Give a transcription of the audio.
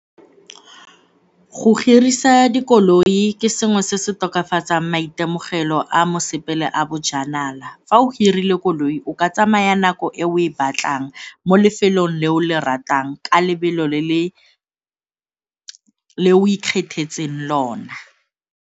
Go hirisa dikoloi ke sengwe se se tokafatsang maitemogelo a mosepele a bojanala. Fa o hirile koloi, o ka tsamaya nako e o e batlang mo lefelong le o le ratang ka lebelo le o ikgethetseng lona.